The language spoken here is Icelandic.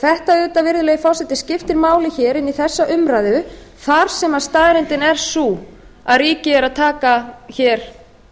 þetta auðvitað virðulegi forseti skiptir máli hér inn í þessa umræðu þar sem staðreyndin er sú að ríkið er að taka hér